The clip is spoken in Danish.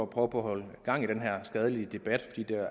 på grund